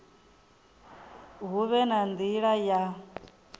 hu vhe na nila ya